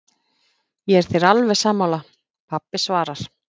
Ég er þér alveg sammála, pabbi svarar